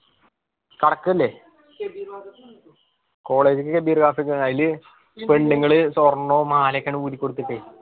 പടക്കം ല്ലേ college അയില് പെണ്ണുങ്ങള് സ്വർണം മലയൊക്കെ അങ്ങട് ഊരി കൊടുത്തിട്ടേ